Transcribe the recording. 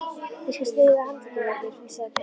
Ég skal styðja við handlegginn á þér flissaði Tóti.